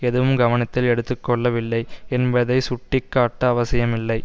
எதுவும் கவனத்தில் எடுத்துக்கொள்ளவில்லை என்பதை சுட்டிக்காட்ட அவசியமில்லை